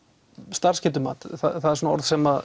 starfsgetumat það er svona orð sem